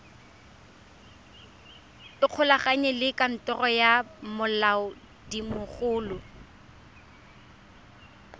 ikgolaganye le kantoro ya molaodimogolo